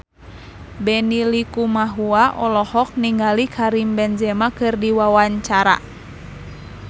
Benny Likumahua olohok ningali Karim Benzema keur diwawancara